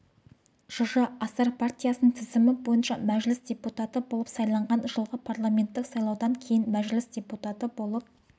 жж асар партиясының тізімі бойынша мәжіліс депутаты болып сайланған жылғы парламенттік сайлаудан кейін мәжіліс депутаты болып